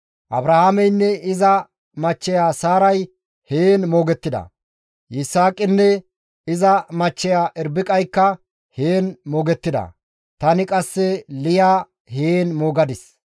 Abrahaameynne iza machcheya Saaray heen moogettida; Yisaaqinne iza machcheya Irbiqaykka heen moogettida; tani qasse Liya heen moogadis.